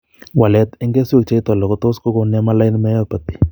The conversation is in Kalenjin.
Walet en keswek cheite loo kotot kogon nemaline myopathy